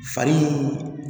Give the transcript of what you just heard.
Fari